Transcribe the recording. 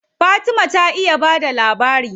Fatima ta iya ba da labari.